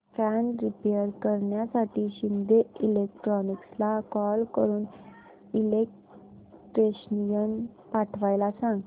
fan repair करण्यासाठी शिंदे इलेक्ट्रॉनिक्सला call करून इलेक्ट्रिशियन पाठवायला सांग